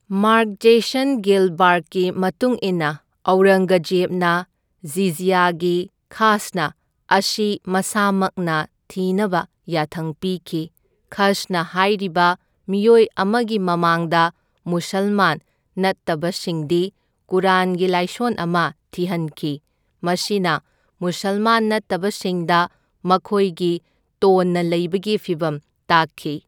Mark Jason ꯒꯤꯜꯕꯥꯔꯠꯀꯤ ꯃꯇꯨꯡ ꯏꯟꯅ, ꯑꯧꯔꯪꯒꯖꯦꯕꯅ ꯖꯤꯖ꯭ꯌꯥꯒꯤ ꯈꯥꯁꯅ ꯑꯁꯤ ꯃꯁꯥꯃꯛꯅ ꯊꯤꯅꯕ ꯌꯥꯊꯪ ꯄꯤꯈꯤ, ꯈꯁꯅ ꯈꯥꯏꯔꯤꯕ ꯃꯤꯑꯣꯏ ꯑꯃꯒꯤ ꯃꯃꯥꯡꯗ ꯃꯨꯁꯜꯃꯥꯟ ꯅꯠꯇꯕꯁꯤꯡꯗꯤ ꯀꯨꯔꯥꯟꯒꯤ ꯂꯥꯏꯁꯣꯟ ꯑꯃ ꯊꯤꯍꯟꯈꯤ, ꯃꯁꯤꯅ ꯃꯨꯁꯜꯃꯥꯟ ꯅꯠꯇꯕꯁꯤꯡꯗ ꯃꯈꯣꯏꯒꯤ ꯇꯣꯟꯅ ꯂꯩꯕꯒꯤ ꯐꯤꯚꯝ ꯇꯥꯛꯈꯤ꯫